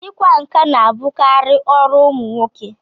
Ị kwa nkà na-abụkarị ọrụ ụmụ nwoke.